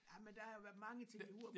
Jamen der har jo været mange ting i Hurup